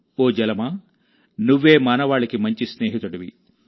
ఓ జలమా నువ్వేమానవాళికి మంచి స్నేహితుడివి